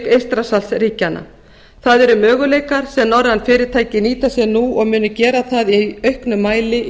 eystrasaltsríkjanna það eru möguleikar sem norræn fyrirtæki nýta sér nú og munu gera það í auknum mæli í